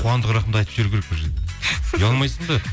қуандық рахымды айтып жіберу керек бұл жерде ұялмайсың ба